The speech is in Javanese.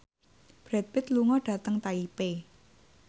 Brad Pitt lunga dhateng Taipei